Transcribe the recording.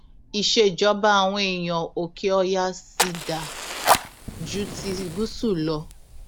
ìṣèjọba àwọn èèyàn òkèọyà sì dáa ju ti gúúsù lọ